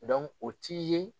o ti ye.